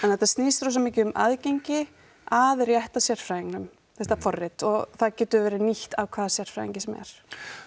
þetta snýst rosa mikið um aðgengi að rétta sérfræðingnum þetta forrit og það getur verið nýtt af hvaða sérfræðingi sem er